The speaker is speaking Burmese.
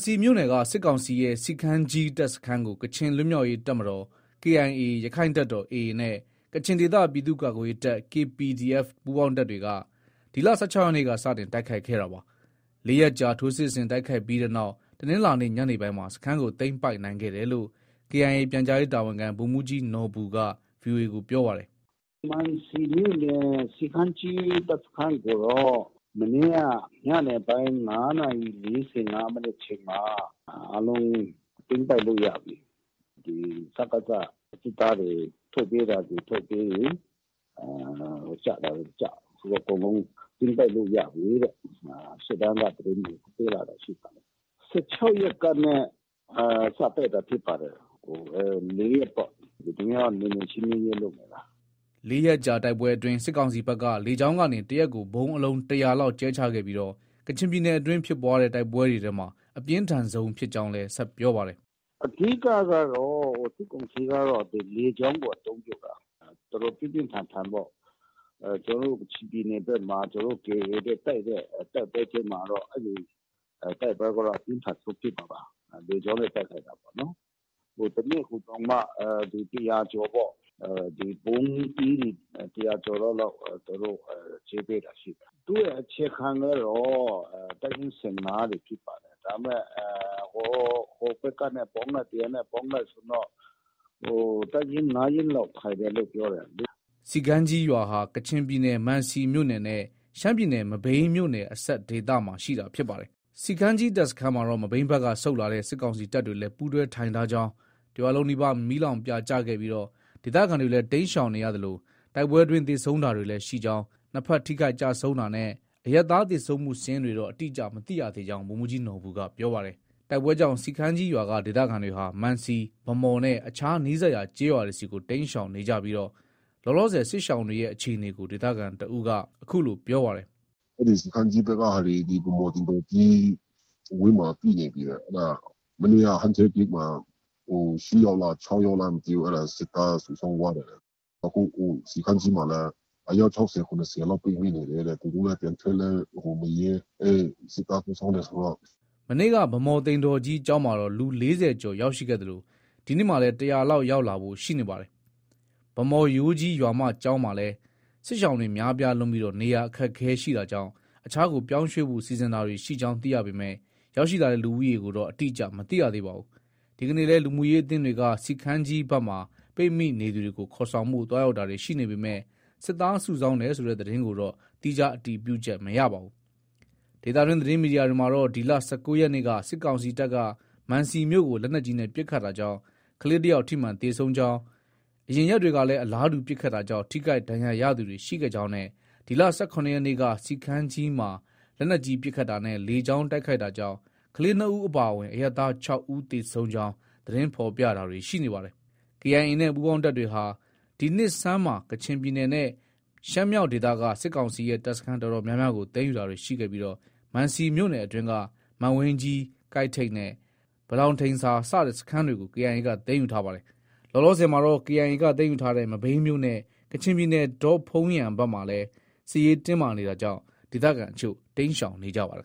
စီမြို့နယ်က စစ်ကောင်စီရဲ့ စီခမ်းကြီးတပ်စခန်းကို ကချင်လွတ်မြောက်ရေးတပ်မတော် KIA ၊ ရက္ခိုင်တပ်တော် AA နဲ့ ကချင်ဒေသ ပြည်သူ့ကာကွယ်ရေးတပ် KPDF ပူးပေါင်းတပ်တွေက ဒီလ ၁၆ရက်နေ့က စတင်တိုက်ခိုက် ခဲ့တာပါ။ ၄ ရက်ကြာ ထိုးစစ်ဆင်တိုက်ခိုက်ပြီးနောက်မှာတော့ တနင်္လာနေ့ ညနေပိုင်းမှာ စခန်းကို သိမ်းပိုက်နိုင်ခဲ့တယ်လို့ KIA ပြန်ကြားရေးတာဝန်ခံ ဗိုလ်မှုးကြီးနော်ဘူက VOA ကို ပြောပါတယ်။ “ မံစီမြို့နယ် စီခမ်းကြီး တပ်စခန်းကိုတော့ မနေ့က ညနေပိုင်း ၅နာရီ ၄၅မိနစ်အချိန်မှာ အားလုံး သိမ်းပိုက်လို့ ရပြီ။ စကစ စစ်သားတွေ ထွက်ပြေးတာတွေ ထွက်ပြေးပြီး ကျတာတွေ ကျ၊ အကုန်လုံး သိမ်းပိုက်လို့ ရပြီတဲ့ ရှေ့တန်းက သတင်းတွေ ပို့လာတာရှိပါတယ်။ ၁၆ရက်ကနဲ့ စတိုက်တာဖြစ်ပါတယ်။ ၄ရက်ပေါ့။ ဒီနေ့ကတော့ နယ်မြေရှင်းလင်းရေးလုပ်နေတာ။ ” ၄ ရက်ကြာတိုက်ပွဲအတွင်းမှာ စစ်ကောင်စီဘက်က လေကြောင်းကနေ တရက်ကို ဗုံးအလုံး ၁၀၀လောက် ကြဲချခဲ့ပြီး ကချင်ပြည်နယ်အတွင်းဖြစ်ပွားတဲ့ တိုက်ပွဲတွေထဲမှာ အပြင်းထန်ဆုံးဖြစ်ကြောင်းလည်း ဆက်ပြောပါတယ်။ “ အဓိကကတော့ စစ်ကောင်စီကတော့ လေကြောင်းကို အသုံးပြုတာ။ တော်တော် ပြင်းပြင်းထန်ထန်ပေါ့။ ကျနော်တို့ ကချင်ပြည်နယ်ထဲမှာ ကျနော်တို့ KIA နဲ့ တိုက်တဲ့ တိုက်ပွဲထဲမှာတော့ အဲဒီ တိုက်ပွဲကတော့ အပြင်းထန်ဆုံးဖြစ်မှာပါ။ လေကြောင်းနဲ့ တိုက်ခိုက်တာပေါ့နော်။ တနေ့ကိုတောင်မှာ ၁၀၀ကျော်ပေါ့။ ဗုံးသီးတွေ ၁၀၀ကျော် လောက် သူတို့တွေ ကြဲပေးတာရှိတယ်။ သူ့ရဲ့အခြေခံကတော့ တပ်ရင်း ၁၅ ဖြစ်ပါတယ်။ ဒါပေမဲ့ ဟိုဘက်ကနေ ပေါင်းလိုက်၊ ဒီဟာနဲ့ ပေါင်းလိုက်ဆိုရင်တော့ တပ်ရင်း ၅ရင်းလောက် ထိုင်တယ်လို့ ပြောတယ်။” စီခမ်းကြီးရွာဟာ ကချင်ပြည်နယ်မံစီမြို့နယ်နဲ့ ရှမ်းပြည်နယ် မဘိမ်းမြို့နယ်အစပ်ဒေသမှာရှိတာဖြစ်ပါတယ်။ စီခမ်းကြီးတပ်စခန်းမှာတော့ မဘိမ်းဘက်က ဆုတ်လာတဲ့ စစ်ကောင်စီတပ်တွေလည်း ပူးတွဲထိုင်ထားကြောင်း ၊ တရွာလုံးနီးပါး မီးလောင်ပြာကျခဲ့ပြီး ဒေသခံတွေလည်း တိမ်းရှောင်နေရသလို တိုက်ပွဲအတွင်း သေဆုံးတာတွေ လည်း ရှိကြောင်း၊ နှစ်ဘက် ထိခိုက် ကျဆုံးတာနဲ့ အရပ်သား သေဆုံးမှုစာရင်းတွေတော့ အတိအကျ သတင်းမရသေးကြောင်း ဗိုလ်မှုးကြီးနော်ဘူက ပြောပါတယ်။ တိုက်ပွဲကြောင့် စီခမ်းကြီးရွာက ဒေသခံတွေဟာ မံစီ၊ ဗန်းမော်နဲ့ အခြားနီးစပ်ရွာ ကျေးရွာတွေဆီ တိမ်းရှောင်နေကြပြီး လောလောဆည် စစ်ရှောင်တွေရဲ့အခြေအနေကို ဒေသခံတဦးက အခုလို ပြောပါတယ်။ “ အဲဒီ စီခမ်းကြီးဘက်ကဟာတွေ ဗန်းမော် သိမ်တော်ကြီး ဝန်းမှာ ပြည့်နေပြီတဲ့။ အဲဒါ မနေ့က ဟန်ထက် ဂိတ်မှာ ၈ယောက်လား ၊ ၆ယောက်လား မသိဘူး အဲဒါ စစ်သားစုဆောင်းသွားတယ်တဲ့။ အခု စီခမ်းကြီးမှာလည်း အယောက် ၆၀- ၇၀လောက် ပိတ်မိနေတယ်တဲ့။ သူတို့လည်း ပြန်ထွက်ဖို့ မရဲ။ အဲ စစ်သားစုဆောင်းတယ် ဆိုတော့..။ ” မနေ့က ဗန်းမော်သိမ်တော်ကြီးကျောင်းမှာတော့ လူ ၄၀ကျော်ရောက်ရှိခဲ့သလို ဒီနေ့မှာလည်း ၁၀၀လောက် ရောက်လာဖို့ ရှိနေပါတယ်။ ဗန်းမော် ရိုးကြီးရွာမကျောင်းမှာလည်း စစ်ရှောင်တွေ များပြားလွန်းပြီး နေရာအခက်အခဲရှိတာကြောင့် အခြားကို ပြောင်းရွှေ့ဖို့ စီစဉ်တာတွေ ရှိကြောင်းသိရပေမဲ့ ရောက်ရှိလာတဲ့ လူဦးရေကိုတော့ အတိအကျ မသိရသေးပါဘူး။ ဒီကနေ့လည်း လူမှုရေးအသင်းတွေက စီခမ်းကြီးဘက်မှာ ပိတ်မိနေသူတွေကို ခေါ်ဆောင်ဖို့ သွားရောက်တာတွေ ရှိနေပေမဲ့ စစ်သားစုဆောင်းတယ်ဆိုတဲ့ သတင်းကိုတော့ သီးခြား အတည်ပြုချက် မရပါဘူး။ ဒေသတွင်း သတင်းမီဒီယာတွေမှာတော့ ဒီလ ၁၉ရက်နေ့က စစ်ကောင်စီတပ်က မံစီမြို့ကို လက်နက်ကြီးနဲ့ ပစ်ခတ်တာကြောင့် ကလေးတယောက် ထိမှန်သေဆုံးကြောင်း၊ အရင်ရက်တွေကလည်း အလားတူပစ်ခတ်တာကြောင့် ထိခိုက်ဒဏ်ရာရသူတွေရှိခဲ့ကြောင်းနဲ့ ဒီလ ၁၇ရက်နေ့က စီခမ်းကြီးမှာ လက်နက်ကြီး ပစ်ခတ်တာနဲ့ လေကြောင်းတိုက်ခိုက်တာကြောင့် ကလေး ၂ဦးအပါအဝင် အရပ်သား ၆ဦး သေဆုံးကြောင်း သတင်းဖော်ပြတာတွေရှိနေပါတယ်။ KIA နဲ့ ပူးပေါင်းတပ်တွေဟာ ဒီနှစ်ဆန်းမှာကချင်ပြည်နယ်နဲ့ ရှမ်းမြောက်ဒေသက စစ်ကောင်စီရဲ့တပ်စခန်း အတော်များများကို သိမ်းယူတာတွေ ရှိခဲ့ပြီး မံစီမြို့နယ်အတွင်းက မံဝိန်းကြီး ကိုက်ထိပ် နဲ့ ဘလောင်ဒိန်ဆာ စတဲ့ စခန်းတွေကို KIA က သိမ်းယူထားပါတယ်။ လောလောဆည်မှာတော့ KIA က သိမ်းယူထားတဲ့ မဘိမ်းမြို့နဲ့ ကချင်ပြည်နယ် ဒေါ့ဖုန်းယန်ဘက်မှာလည်း စစ်ရေးတင်းမာနေတာကြောင့် ဒေသခံအချို့ တိမ်းရှောင်နေကြပါတယ်